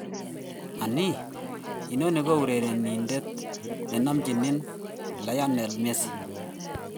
"Anii, inoni ko urerenindet ne nomchin Lionel Messi?"